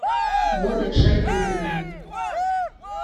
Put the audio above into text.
вове шайдуллину